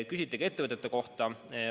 Küsiti ka ettevõtete kohta.